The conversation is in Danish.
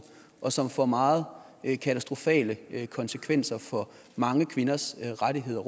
og som vil få meget katastrofale konsekvenser for mange kvinders rettigheder